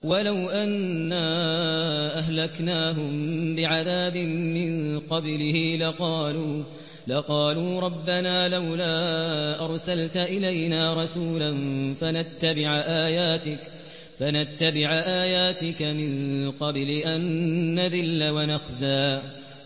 وَلَوْ أَنَّا أَهْلَكْنَاهُم بِعَذَابٍ مِّن قَبْلِهِ لَقَالُوا رَبَّنَا لَوْلَا أَرْسَلْتَ إِلَيْنَا رَسُولًا فَنَتَّبِعَ آيَاتِكَ مِن قَبْلِ أَن نَّذِلَّ وَنَخْزَىٰ